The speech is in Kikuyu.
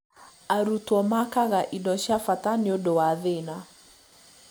Arutwo makaaga indo cia bata nĩ ũndũ wa thĩna